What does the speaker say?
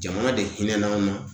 Jamana de hinɛ n'an ma